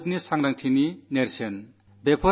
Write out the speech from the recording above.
അത് രാഷ്ട്രത്തിന്റെ ചേതനയുടെ പ്രതീകമാണ്